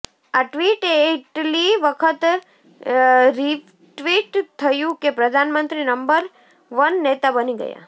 આ ટ્વીટ એટલી વખત રીટ્વીટ થયું કે પ્રધાનમંત્રી નંબર વન નેતા બની ગયા